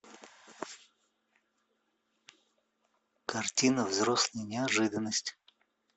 картина взрослая неожиданность